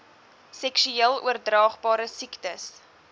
seksueel oordraagbare siektes